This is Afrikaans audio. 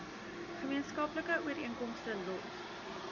gemeenskaplike ooreenkomste los